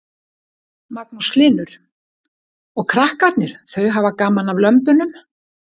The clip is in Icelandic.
Magnús Hlynur: Og krakkarnir þau hafa gaman að lömbunum?